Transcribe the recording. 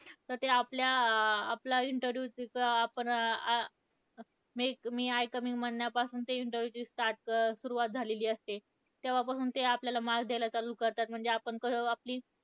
तर ते आपल्या, आपल्या अं interview तिथं आपण, अं may I come in? म्हणण्यापासून त्या interview ची start सुरुवात झालेली असते. तेव्हापासून ते आपल्याला marks द्यायला चालू करतात, म्हणजे आपण कसं आपली,